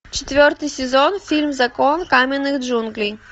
четвертый сезон фильм закон каменных джунглей